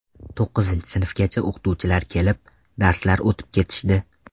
To‘qqizinchi sinfgacha o‘qituvchilari kelib, darslar o‘tib ketishdi.